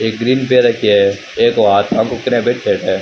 एक ग्रीन पैर रखो है। --